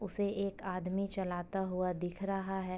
उसे एक आदमी चलाता हुआ दिख रहा है।